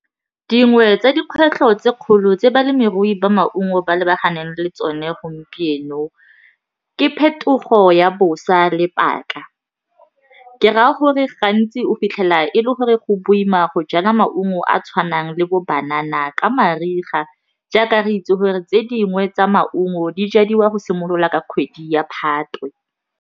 Dingwe tsa dikgwetlho tse kgolo tse balemirui ba maungo ba lebaganeng le tsone gompieno, ke phetogo ya bosa le paka, ke raya gore ga ntsi o fitlhela e le gore go boima go jala maungo a a tshwanang le bo banana ka mariga jaaka re itse gore tse dingwe tsa maungo di jadiwa go simolola ka kgwedi ya Phatwe.